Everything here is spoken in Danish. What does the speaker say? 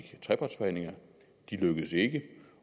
trepartsforhandlinger de lykkedes ikke